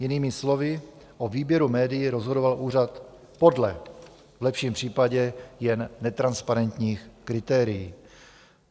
Jinými slovy, o výběru médií rozhodoval úřad podle v lepším případě jen netransparentních kritérií.